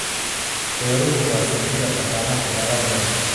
Beeruhu waa saldhigga dhaqaalaha dalal badan.